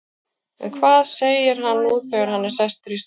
En hvað segir hann nú þegar hann er sestur í stólinn?